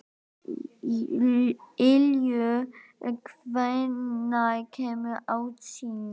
Ylur, hvenær kemur ásinn?